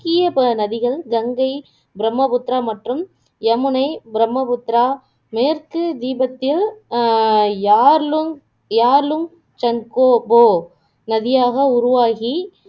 முக்கிய நதிகள் கங்கை, பிரம்மபுத்திரா மற்றும் யமுனை பிரம்மபுத்திரா மேற்கு தீபத்திய அஹ் யார்லுங்க் யார்லுங்க் ட்சங்கோபோ நதியாக உருவாகி